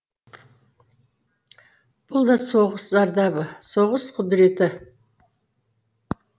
бұл да соғыс зардабы соғыс құдіреті